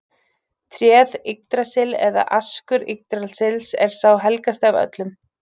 Tréð Yggdrasill eða askur Yggdrasils er sá helgasti af öllum.